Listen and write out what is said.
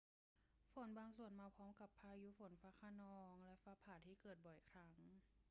ฝนบางส่วนมาพร้อมกับพายุฝนฟ้าคะนองและฟ้าผ่าที่เกิดบ่อยครั้ง